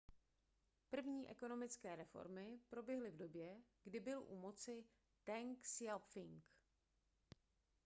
první ekonomické reformy proběhly v době kdy byl u moci teng siao-pching